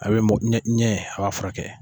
A bɛ ɲɛ ɲɛ a b'a ka furakɛ.